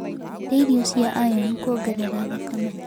Rĩa irio ciĩna iron kuongerera thakame